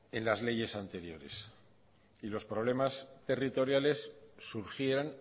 en las leyes anteriores y los problemas territoriales surgían